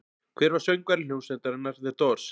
Hver var söngvari hljómsveitarinnar The Doors?